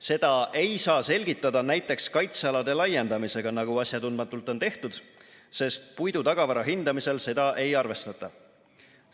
Seda ei saa selgitada näiteks kaitsealade laiendamisega, nagu asjatundmatult on tehtud, sest puidutagavara hindamisel seda ei arvestata.